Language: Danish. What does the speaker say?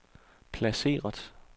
placeret